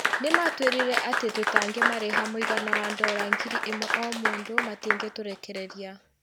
Nĩ maatwĩrire atĩ tũtangĩmarĩha mũigana wa ndora ngiri ĩmwe o mũndũ, matingĩtũrekereria.